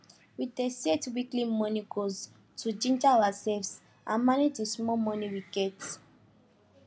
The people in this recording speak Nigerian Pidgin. we dey set weekly money goals to ginger ourselves and manage the small money we get